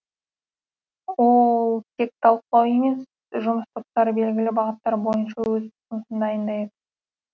ол тек талқылау емес жұмыс топтары белгілі бағыттар бойынша өз ұсынысын дайындайды